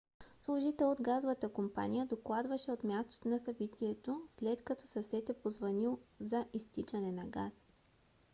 служител от газовата компания докладваше от мястото на събитието след като съсед е позвънил за изтичане на газ